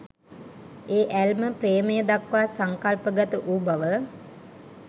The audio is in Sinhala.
ඒ ඇල්ම ප්‍රේමය දක්වා සංකල්පගත වූ බව